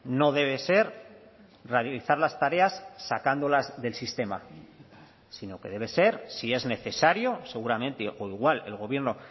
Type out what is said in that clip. no debe ser realizar las tareas sacándolas del sistema sino que debe ser si es necesario seguramente o igual el gobierno